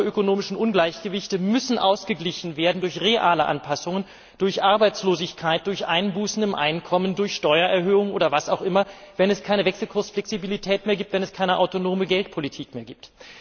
Und diese makroökonomischen Ungleichgewichte müssen ausgeglichen werden durch reale Anpassungen, durch Arbeitslosigkeit, durch Einbußen im Einkommen, durch Steuererhöhungen oder was auch immer, wenn es keine Wechselkursflexibilität mehr gibt, wenn es keine autonome Geldpolitik mehr gibt.